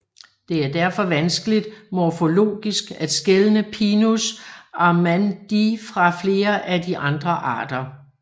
Det er derfor vanskeligt morfologisk at skelne Pinus armandii fra flere af de andre arter